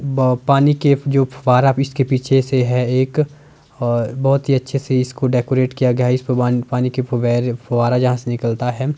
ब पानी के जो फब्बारा इसके पीछे से है एक अ बहोत ही अच्छे से इसके डेकोरेट किया गया है इस पानी के फबारे फब्बारा जहां से निकलता है।